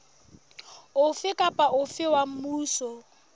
ofe kapa ofe wa mmuso